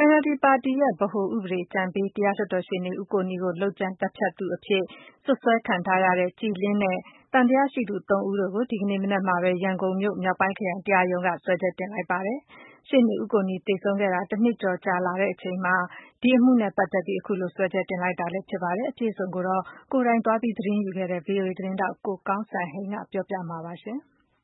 NLD ပါတီရဲ့ ဗဟို ဥပဒေအကြံပေး တရားလွှတ်တော်ရှေ့နေ ဦးကိုနီကို လုပ်ကြံ သတ်ဖြတ်သူအဖြစ် စွပ်စွဲခံထားရတဲ့ ကြည်လင်း နဲ့ သံသယရှိသူ ၃ ဦးတို့ကို ဒီကနေ့မနက်မှာပဲ ရန်ကုန်မြို့၊ မြောက်ပိုင်းခရိုင် တရားရုံးက စွဲချက်တင်လိုက်ပါပြီ။ ရှေ့နေ ဦးကိုနီသေဆုံးခဲ့တာ ၁နှစ်ကျော် ကြာလာတဲ့အချိန်မှာ ဒီအမှုနဲ့ ပက်သက်ပြီး စွဲချက်တင် လိုက်တာလည်း ဖြစ်ပါတယ်။ အပြည့်အစုံကိုတော့ ကိုယ်တိုင် သတင်းသွားယူခဲ့တဲ့ VOA သတင်းထောက် ကိုကောင်းစံဟိန်းက ပြောပြပေးမှာပါ။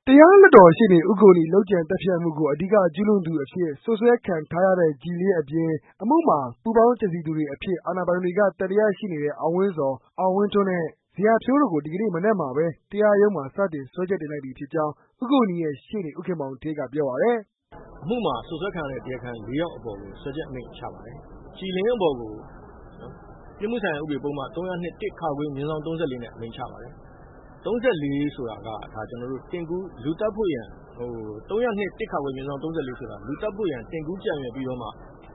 တရားလွှတ်တော်ရှေ့နေ ဦးကိုနီ လုပ်ကြံသတ်ဖြတ်မှုကို အဓိက ကျုးလွန်သူအဖြစ် စွပ်စွဲခံထားရတဲ့ ကြည်လင်း အပြင်၊ အမှုမှာ ပူးပေါင်းကြံစည်သူတွေ အဖြစ် အာဏာပိုင်တွေက သံသယရှိနေတဲ့ အောင်ဝင်းဇော်၊ အောင်ဇော်ထွန်းနဲ့ဇေယျာဖြိုးတို့ကို ဒီကနေ့ မနက်မှာပဲ တရားရုံးမှာ စတင် စွဲချက်တင်လိုက်ပြီ ဖြစ်ကြောင်း ဦးကိုနီရဲ့ ရှေ့နေ ဦးခင်မောင်ဌေးက ပြောပါတယ်။ "အမှုမှာ စွပ်စွဲခံရတဲ့ တရားခံ ၄ယောက်ကို စွဲချက်အမိန့်ချပါတယ်။ ကြည်လင်းအပေါ်ကို ပြစ်မှုဆိုင်ရာ ဥပဒေပုဒ်မ ၃၀၂ /၃၄ အရ အမိန့်ချပါတယ်။ ၃၄ ဆိုတာက ကျနော်တို့ လူသတ်ဖို့ရန် ၃၀၂ /၃၄ဆိုတာက လူသတ်ဖို့ရန် တင်ကူးကြံရွယ်ပြီးမှ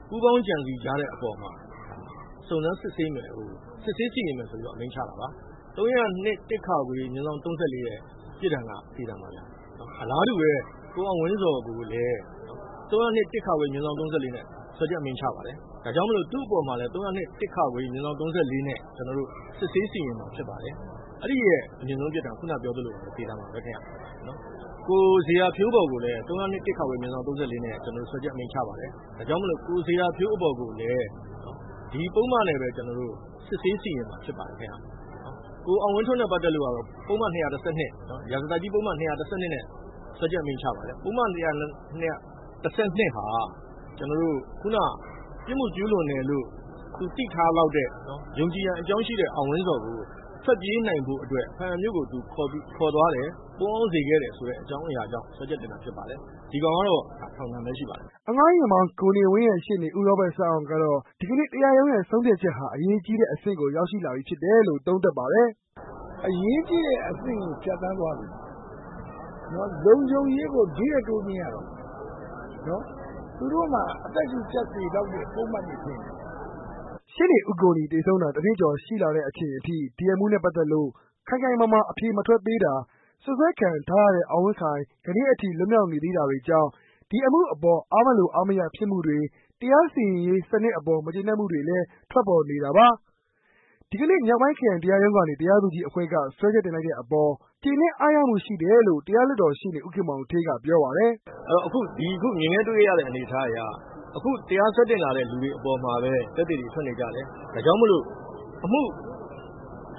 ပူးပေါင်းကြံစည်ကြတဲ့အပေါ်မှာ ဒါစစ်ဆေးစီရင်မယ်ဆိုပြီးတော့ အမိန့်ချတာပါ။ ၃၀၂ /၃၄ ရဲ့ ပြစ်ဒဏ်ကတော့ သေဒဏ်ပါခင်ဗျ။ အလားတူပဲ ကိုအောင်ဝင်းဇော်ကိုလည်း /၃၄ နဲ့ စွဲချက်အမိန့်ချပါတယ်။ ဒါကြောင့်မို့လို့ သူ့အပေါ်မှာလည်း ၃၀၂ /၃၄ နဲ့ စစ်ဆေးစီရင်မှာ ဖြစ်ပါတယ်။ အဲဒါကလည်း ခုနပြောသလိုပါပဲ သေဒဏ်ပါပဲခင်ဗျ။ ဇေယျာဖြိုးအပေါ်ကိုလည်း ၃၀၂ /၃၄နဲ့ စွဲချက်အမိန့်ချပါတယ်။ ဒါကြောင့်မို့လို့ ဇေယျာဖြိုးအပေါ်ကိုလည်း ဒီပုဒ်မနဲ့ပဲ ကျနော်တို့ စစ်ဆေးစီရင်မှာ ဖြစ်ပါတယ်။ ကိုအောင်ဇော်ထွန်းနဲ့ ပတ်သက်လို့ ရာဇသတ်ကြီးပုဒ်မ ၂၁၂ နဲ့ စွဲချက်အမိန့်ချပါတယ်။ပုဒ်မ ၂၁၂ က ခုန ပြစ်မှုကျူးလွန်တယ်လို့ သူသိထားလောက်တဲ့ ယုံကြည်ရန်အကြောင်းရှိတဲ့ အောင်ဝင်းဇော်ကို ထွက်နိုင်ဖို့အတွက် ဘားအံမြို့ကို သူခေါ်သွား ပုန်းအောင်းစေခဲ့တယ်ဆိုတဲ့ အကြောင်းအရာကြောင့် စွဲချက်တင်တာဖြစ်ပါတယ်။ ဒီကောင်ကတော့ ထောင်ဒဏ်ပဲ ရှိပါတယ်။" အငှားယာဉ်မောင်း ကိုနေဝင်းရဲ့ ရှေ့နေ ဦးရောဘတ် စန်းအောင်ကတော့ ဒီကနေ့ တရားရုံးရဲ့ ဆုံးဖြတ်ချက်ဟာ အရေးကြီးတဲ့အဆင့်ကို ရောက်ရှိလာပြီဖြစ်တယ်လို့ သုံးသပ်ပါတယ်။ "အရေးကြီးတဲ့ အဆင့်ကို ဖြတ်သန်းသွားပြီ ။ လုံခြုံရေးကို ဒီထက်တိုးမြင့်ရတော့မယ်။ သူတို့မှာ အသက်ရှုကျပ်စေလောက်တဲ့ ပုဒ်မတွေဖြစ်တယ်။" ရှေ့နေဦးကိုနီ သေဆုံးတာ၁နှစ်ကျော် ရှိလာတဲ့အချိန်အထိ အမှုနဲ့ပက်သက်လို့ ခိုင်ခိုင်မာမာ အဖြေ မထွက်သေးတာ၊ စွပ်စွဲခံထားရတဲ့ အောင်ဝင်းခိုင် ကနေ့အထိ လွတ်မြောက်နေသေးတာတွေကြောင့် ဒီအမှုအပေါ် အားမလို အားမရဖြစ်မှုတွေ၊ တရားစီရင်ရေး စံနစ်အပေါ် မကျေနပ်မှုတွေလည်း ထွက်ပေါ်နေတာပါ။ ဒီကနေ့ မြောက်ပိုင်းခရိုင် တရားရုံးကနေ တရားသူကြီးအဖွဲ့က စွဲချက်တင်လိုက်တဲ့အပေါ် ကျေနပ် အားရမှုရှိတယ်လို့ တရားလွှတ်တော်ရှေ့နေ ဦးခင်မောင်ဌေးက ပြောပါတယ်။ "အခုမြင်ခဲ့တွေ့ခဲ့ရတဲ့အနေအထားအရ အခုတရားစွဲတင်လာတဲ့ လူတွေအပေါ်မှာပဲ သက်သေတွေ ထွက်နေကြတယ်။ ဒါကြောင့်မို့လို့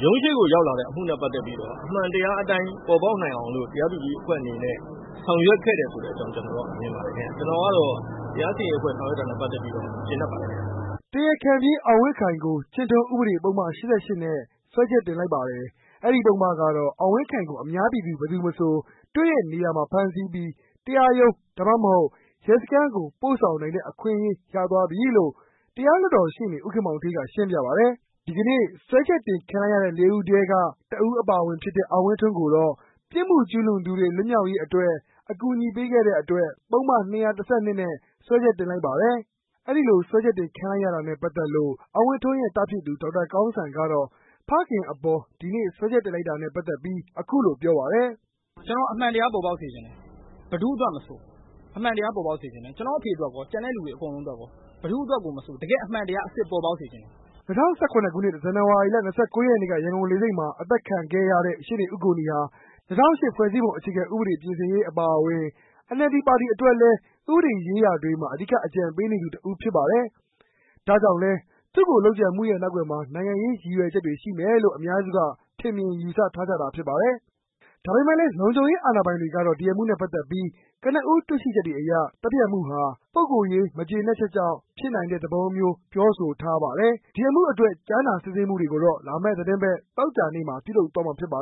ရုံးရှေ့ကိုရောက်လာတဲ့ အမှုနဲ့ ပတ်သက်ပြီးတော့ အမှန်တရားအတိုင်းပေါ်ပေါက်နိုင်အောင်လို့ တရားသူကြီးအဖွဲ့အနေနဲ့ ဆောင်ရွက်ခဲ့တယ်ဆိုတဲ့အကြောင်း ကျနော်မြင်ပါတယ်။ ကျနော်ကတော့ တရားစီရင်ရေးအဖွဲ့ဆောင်ရွက်တာနဲ့ ပတ်သက်ပြီးတော့ ကျေနပ်ပါတယ်ခင်ဗျ။" တရားခံပြေး အောင်ဝင်းခိုင်ကို ကျင့်ထုံး ဥပဒေပုဒ်မ ၈၈ နဲ့ စွဲချက် တင်လိုက်ပါတယ်။ အဲဒီ ပုဒ်မကတော့ အောင်ဝင်းခိုင်ကို အများပြည်သူ ဘယ်သူမဆို တွေ့တဲ့နေရာမှာ ဖမ်းဆီးပြီး တရားရုံး၊ ဒါမှမဟုတ် ရဲစခန်းကို ပို့ဆောင်နိုင်တဲ့ အခွင့်အရေးရသွားပြီလို့ တရားလွှတ်တော်ရှေ့နေ ဦးခင်မောင်ဌေးက ရှင်းပြပါတယ်။ ဒီကနေ့ စွဲချက်တင်ခံလိုက်ရတဲ့ ၄ ဦးထဲမှာ တဦးအပါအဝင်ဖြစ်တဲ့ အောင်ဝင်းထွန်းကတော့ ပြစ်မှုကျူးလွန်သူတွေ လွတ်မြောက်ရေးအတွက် အကူအညီပေးခဲ့တဲ့အတွက် ပုဒ်မ ၂၁၂ နဲ့ စွဲချက်တင်လိုက်ပါတယ်။ အဲဒီလို စွဲချက်တင်ခံလိုက်ရတာနဲ့ ပတ်သက်လို့ အောင်ဝင်းထွန်းရဲ့ သားဖြစ်သူ ဒေါက်တာ ကောင်းစံကတော့ ဖခင်အပေါ် ဒီနေ့ စွဲချက်တင်လိုက်တာနဲ့ ပက်သက်လို့ အခုလို ပြောပါတယ်။ "ကျနော်အမှန်တရားပေါ်ပေါက်စေချင်တယ်။ ဘယ်သူ့အတွက်မဆို အမှန်တရားပေါ်ပေါက်စေချင်တယ်။ ကျနော့်အဖေအတွက်ရော ကျန်တဲ့လူတွေအတွက်ရော ဘယ်သူ့အတွက်ကို မဆို တကယ့်အမှန်တရားအစစ် ပေါ်ပေါက်စေချင်တယ်။" ၂၀၁၇ ဇန်နဝါရီလ ၂၉ ရက်နေ့က ရန်ကုန်လေဆိပ်မှာ အသတ်ခံခဲ့ရတဲ့ ရှေ့နေ ဦးကိုနီ ဟာ ၂၀၀၈ ဖွဲ့စည်းပုံ အခြေခံဥပဒေပြင်ဆင်ရေး အပါအဝင် NLD ပါတီအတွက် ဥပဒေရေးရာတွေမှာ အဓိက အကြံပေးနေသူတဦး ဖြစ်ပါတယ်။ ဒါကြောင့်လည်း သူ့ကို လုပ်ကြံမှုရဲ့ နောက်ကွယ်မှာ နိုင်ငံရေး ရည်ရွယ်ချက်တွေ ရှိမယ်လို့ အများစုက ထင်မြင် ယူဆထားကြတာ ဖြစ်ပါတယ်။ ဒါပေမဲ့လည်း လုံခြုံရေး အာဏာပိုင်တွေကတော့ အမှုနဲ့ ပတ်သက်လို့ ကနဦး တွေ့ရှိချက်တွေအရ သတ်ဖြတ်မှုဟာ ပုဂ္ဂိုလ်ရေး မကျေနပ်ချက်ကြောင့် ဖြစ်နိုင်တဲ့ သဘောမျိုး ပြောဆိုထားပါတယ်။ ဒီအမှုအတွက် ကြားနာ စစ်ဆေးမှုတွေကိုတော့ လာမယ့်သီတင်းပတ် သောကြာနေ့မှာ ပြုလုပ်သွားမှာ ဖြစ်ပါ